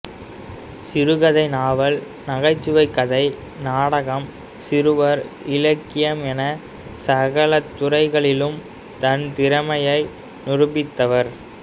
சிறுகதை நாவல் நகைச்சுவைக் கதை நாடகம் சிறுவர் இலக்கியம் என சகல துறைகளிலும் தன் திறமையை நிரூபித்தவர்